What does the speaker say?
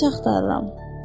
Qıvrımsaçı axtarıram.